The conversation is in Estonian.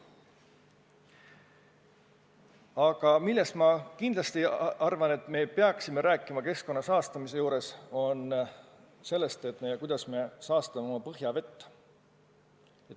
Aga millest minu arvates keskkonna saastamise puhul rääkima peaks, on see, kuidas me saastame oma põhjavett.